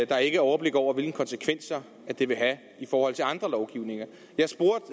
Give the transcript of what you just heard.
der ikke er overblik over hvilke konsekvenser det vil have i forhold til andre lovgivninger